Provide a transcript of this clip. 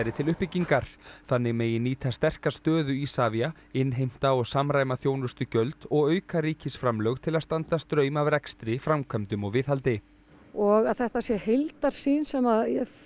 til uppbyggingar þannig megi nýta sterka stöðu Isavia innheimta og samræma þjónustugjöld og auka ríkisframlög til að standa straum af rekstri framkvæmdum og viðhaldi og að þetta sé heildarsýn sem